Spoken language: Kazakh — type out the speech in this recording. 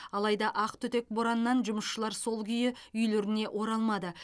алайда ақтүтек бораннан жұмысшылар сол күйі үйлеріне оралмады